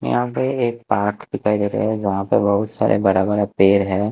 यहाँ पे एक पार्क दिखाई दे रहा है जहां पे बहुत सारा बड़ा-बड़ा पेड़ है।